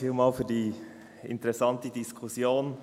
Vielen Dank für die interessante Diskussion.